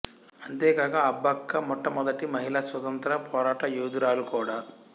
అంతేకాక అబ్బక్క మొట్టమొదటి మహిళా స్వతంత్ర పోరాట యోధురాలు కూడా